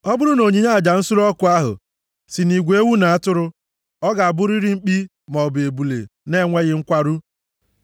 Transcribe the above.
“ ‘Ọ bụrụ na onyinye aja nsure ọkụ ahụ si nʼigwe ewu na atụrụ, ọ ga-abụrịrị mkpi maọbụ ebule na-enweghị nkwarụ.